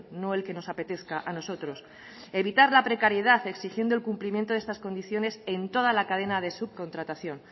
no el que nos apetezca a nosotros evitar la precariedad exigiendo el cumplimiento de estas condiciones en toda la cadena de subcontratación